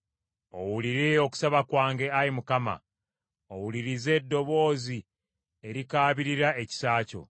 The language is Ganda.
Owulire okusaba kwange, Ayi Mukama ; owulirize eddoboozi erikaabirira ekisa kyo.